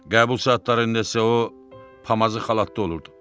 Qəbul saatlarında isə o pamazı xalatda olurdu.